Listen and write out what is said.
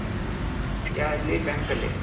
ಎಲ್ಲಿ bank ಅಲ್ಲಿ